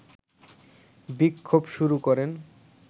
বিক্ষোভ শুরু করেন